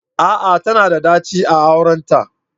A'a! Tana da daci a aurenta